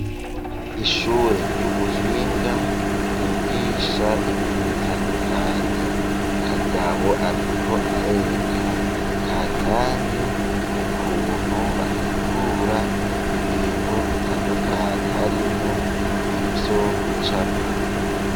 Ishure ry'ubuhinga, ryigisha ibintu bitandukanye, kagabo ariko arereka kanyange, ukuntu ,bahingura ibintu bitandukanye, harimwo ivyo gucapa.